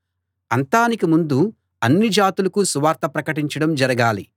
అంతానికి ముందు అన్ని జాతులకూ సువార్త ప్రకటించడం జరగాలి